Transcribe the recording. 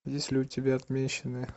есть ли у тебя отмеченные